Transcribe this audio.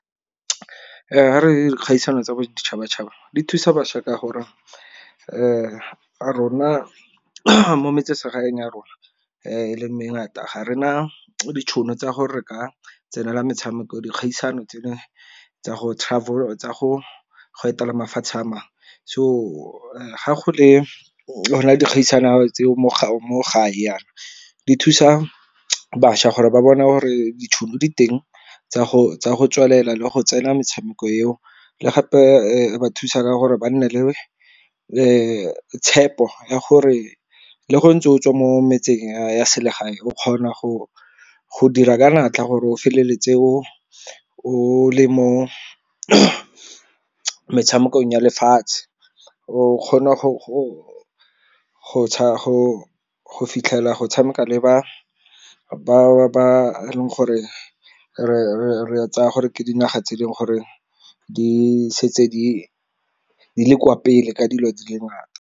dikgaisano tsa boditšhabatšhaba di thusa bašwa ka gore rona mo metsesegaeng ya rona e le mangata ga re na ditšhono tsa gore re ka tsenela metshameko, dikgaisano tsa go travel tsa go go etela mafatshe a mangwe. So ga go le dikgaisano tseo mo gae yana di thusa bašwa gore ba bona gore ditšhono diteng tsa go tswelela le go tsena metshameko eo le gape ba thusa ka gore ba nne le tshepo ya gore le go ntse o tswe mo metseng ya selegae o kgona go dira ka natla gore o feleletse o le mo metshamekong ya lefatshe. O kgona go fitlhela go tshameka le ba bangwe ba gore re tsaya gore ke dinaga tse e leng gore di setse di le kwa pele ka dilo di le ngata.